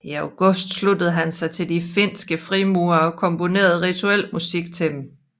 I august sluttede han sig til de finske frimurere og komponerede rituel musik til dem